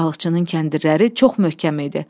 Balıqçının kəndirləri çox möhkəm idi.